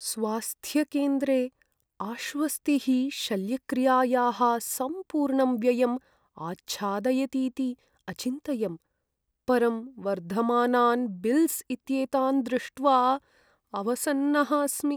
स्वास्थ्यकेन्द्रे आश्वस्तिः शल्यक्रियायाः सम्पूर्णं व्ययम् आच्छादयतीति अचिन्तयम्। परं वर्धमानान् बिल्स् इत्येतान् दृष्ट्वा अवसन्नः अस्मि।